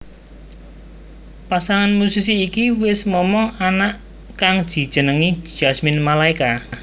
Pasangan musisi iki wis momong anak kang dijenengi Jasmine Malaeka